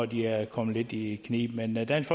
de er kommet lidt i knibe men dansk